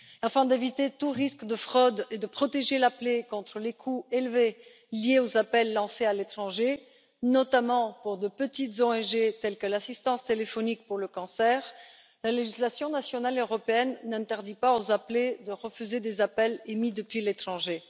Afin d'éviter tout risque de fraude et de protéger l'appelé contre les coûts élevés liés aux appels émis depuis l'étranger, notamment pour de petites ONG telles que l'assistance téléphonique pour le cancer, la législation nationale et européenne n'interdit pas aux appelés de refuser des appels émis depuis l'étranger.